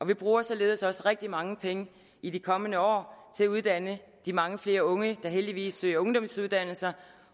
vi bruger således også rigtig mange penge i de kommende år til at uddanne de mange flere unge der heldigvis søger ungdomsuddannelse